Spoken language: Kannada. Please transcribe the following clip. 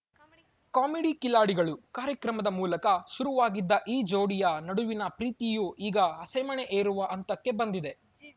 ಕಾಮಿಡಿ ಕಿಲಾಡಿಗಳು ಕಾರ್ಯಕ್ರಮದ ಮೂಲಕ ಶುರುವಾಗಿದ್ದ ಈ ಜೋಡಿಯ ನಡುವಿನ ಪ್ರೀತಿಯು ಈಗ ಹಸೆಮಣೆ ಏರುವ ಹಂತಕ್ಕೆ ಬಂದಿದೆ